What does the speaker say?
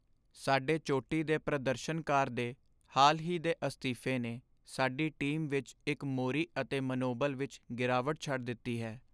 ਸਾਡੇ ਚੋਟੀ ਦੇ ਪ੍ਰਦਰਸ਼ਨਕਾਰ ਦੇ ਹਾਲ ਹੀ ਦੇ ਅਸਤੀਫੇ ਨੇ ਸਾਡੀ ਟੀਮ ਵਿੱਚ ਇੱਕ ਮੋਰੀ ਅਤੇ ਮਨੋਬਲ ਵਿੱਚ ਗਿਰਾਵਟ ਛੱਡ ਦਿੱਤੀ ਹੈ।